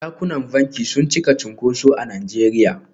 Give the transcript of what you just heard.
Dakunan banki sun cika cunkuso a Najeriya.